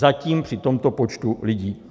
Zatím při tomto počtu lidí.